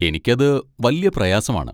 എനിക്ക് അത് വല്യ പ്രയാസമാണ്.